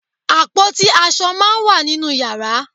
Àpótí aṣọ máá ń wà nínú yàrá